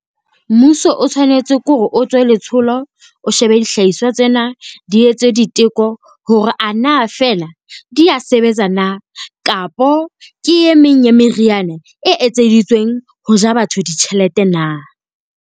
Mmuso o tshwanetse ke ho re o tswe letsholo, o shebe dihlahiswa tsena. Di etswe diteko hore a na fela di a sebetsa na, kapo ke e meng ya meriana e etseditsweng ho ja batho ditjhelete na?